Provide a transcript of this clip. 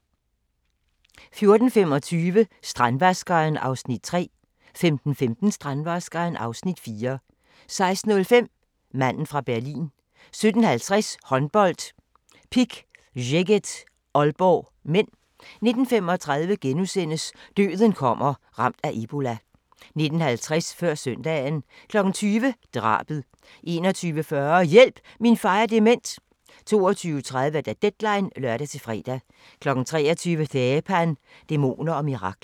14:25: Strandvaskeren (3:6) 15:15: Strandvaskeren (4:6) 16:05: Manden fra Berlin 17:50: Håndbold: Pick Szeged-Aalborg (m) 19:35: Døden kommer – Ramt af ebola * 19:50: Før søndagen 20:00: Drabet 21:40: Hjælp – min far er dement! 22:30: Deadline (lør-fre) 23:00: Dheepan – Dæmoner og mirakler